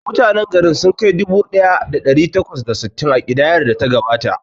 Mutanen garin sun kai dubu ɗaya da ɗari takwas da sittin a kidayar da ta gabata.